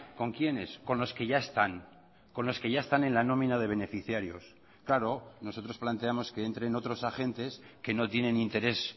con quiénes con los que ya están con los que ya están en la nómina de beneficiarios claro nosotros planteamos que entren otros agentes que no tienen interés